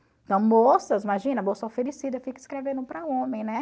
Então moças, imagina, moça oferecida fica escrevendo para homem, né?